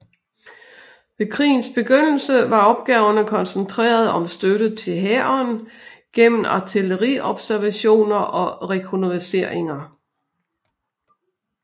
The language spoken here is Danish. Ved krigens begyndelse var opgaverne koncentreret om støtte til hæren gennem artilleriobservationer og rekognosceringer